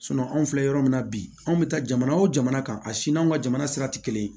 anw filɛ yɔrɔ min na bi anw bɛ taa jamana o jamana kan a si n'anw ka jamana sira tɛ kelen ye